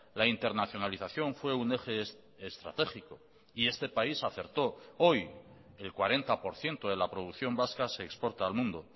la internacionalización fue un eje estratégico y este país acertó hoy el cuarenta por ciento de la producción vasca se exporta al mundo